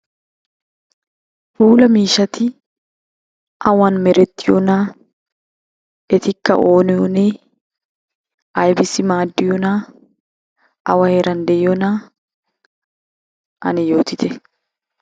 Puula miishshati awan merettiyonaa, etikka oonee oonee, aybissi maaddiyonaa, awa heeran de'iyonaa ane yootite.